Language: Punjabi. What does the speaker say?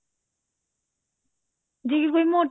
ਜੇ ਕੋ ਮੋ